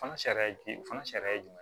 Fana sariya jumɛn o fana sariya ye jumɛn